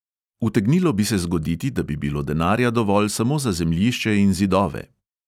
Utegnilo bi se zgoditi, da bi bilo denarja dovolj samo za zemljišče in zidove.